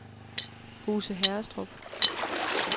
Huse Herrestrup